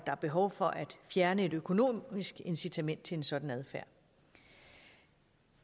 er behov for at fjerne et økonomisk incitament til en sådan adfærd